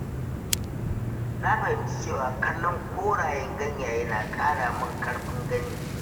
Na fahimci cewa kallon korayen ganyaye na ƙara mun ƙarfin gani.